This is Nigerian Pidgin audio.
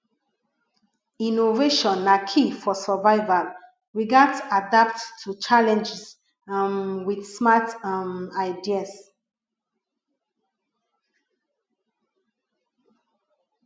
innovation na key for survival we gats adapt to challenges um with smart um ideas